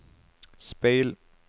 speil